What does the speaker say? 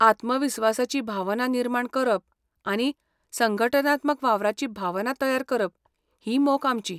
आत्मविस्वासाची भावना निर्माण करप आनी संघटनात्मक वावराची भावना तयार करप ही मोख आमची.